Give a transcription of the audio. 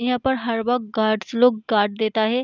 यहाँ पर हर वक्त गार्ड्स लोग गार्ड् देता है।